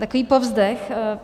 Takový povzdech.